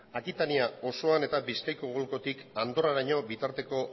akitania osoan eta bizkaiko golkotik andorraraino bitarteko